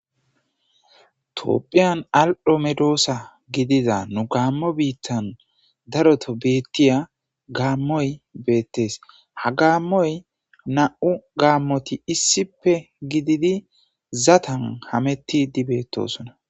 toopphiyan al7ho medoosa gidiza nu gaammo biittan daroto beettiya gaammoy beettees ha gaammoy na7u gaammoti issippe gididi zatan hametti dibeetosona